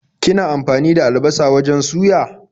Kina amfani da albasa wajen suya?